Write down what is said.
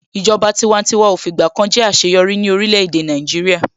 Ìjọba tiwantiwa ò fìgbà kan jẹ́ àṣeyọrí ní orílẹ̀-èdè Nàìjíríà.